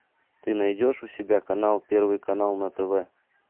ты найдешь у себя канал первый канал на тв